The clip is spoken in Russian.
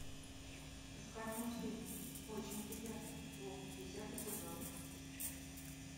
искать мультфильм очень приятно бог десятый сезон